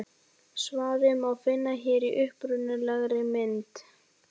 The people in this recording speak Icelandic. Svarið má finna hér í upprunalegri mynd.